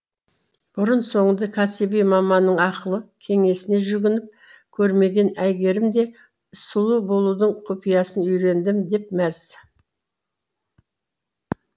бұрын соңды кәсіби маманның ақылы кеңесіне жүгініп көрмеген әйгерім де сұлу болудың құпиясын үйрендім деп мәз